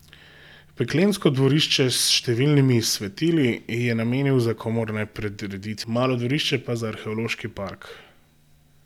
Peklensko dvorišče s številnimi svetili je namenil za komorne prireditve, malo dvorišče pa za arheološki park.